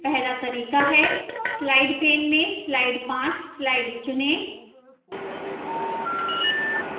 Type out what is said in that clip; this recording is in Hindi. पहला तरीका है slide pane में slide 5 slide चुनें